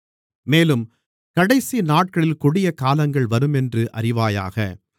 மேலும் கடைசிநாட்களில் கொடியகாலங்கள் வருமென்று அறிவாயாக